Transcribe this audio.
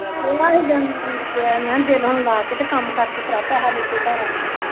ਮੈਂ ਦਿਲ ਹੁਣ ਲਾ ਕੇ ਤੇ ਕੰਮ ਕਰਕੇ ਭਰਾ ਪੈਹਾ ਲੈ ਕੇ ਘਰ ਆਵੀ